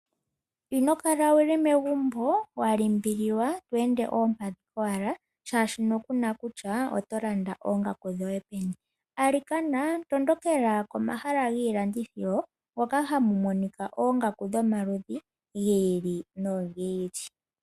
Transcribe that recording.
Ino kala wu li megumbo wa limbililwa to ende oompadhi kowala, molwashoka ku na kutya oto landa oongaku dhoye peni. Alikana tondokela pomahala gomalanditho mpoka hapu monika oongaku dhomaludhi gi ili nogi ili.